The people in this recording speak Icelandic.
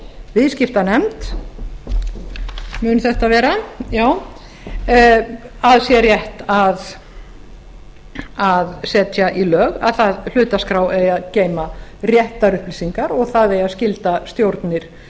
viðskiptanefnd að sé rétt að setja í lög að hlutaskrá eigi að geyma réttar upplýsingar og það eigi að skylda stjórnir